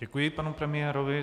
Děkuji panu premiérovi.